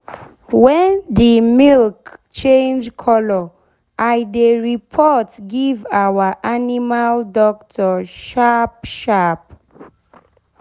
wen d milk change color i dey report give our animal doctor sharp sharp